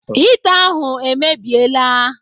Hita ahụ emebiela.